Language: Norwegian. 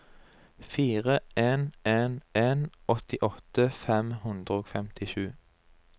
fire en en en åttiåtte fem hundre og femtisju